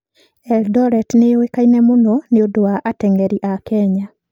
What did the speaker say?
Eldoret nĩ ĩũĩkaine mũno nĩ ũndũ wa ateng'eri a Kenya.